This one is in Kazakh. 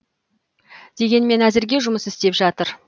дегенмен әзірге жұмыс істеп жатыр